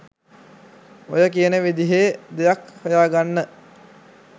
ඔය කියන විදිහේ දෙයක් හොයාගන්න.